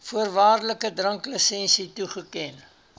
voorwaardelike dranklisensie toeken